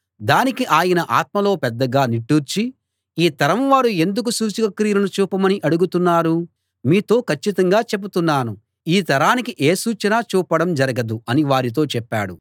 దానికి ఆయన ఆత్మలో పెద్దగా నిట్టూర్చి ఈ తరం వారు ఎందుకు సూచక క్రియలను చూపమని అడుగుతున్నారు మీతో కచ్చితంగా చెప్తున్నాను ఈ తరానికి ఏ సూచనా చూపడం జరగదు అని వారితో చెప్పాడు